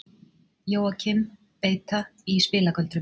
Jóakim beita í spilagöldrum.